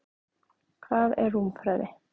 Hvað er rúmfræði?